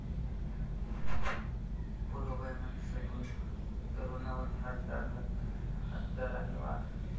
पूर्ववैमनस्यातून तरूणावर धारदार हत्याराने वार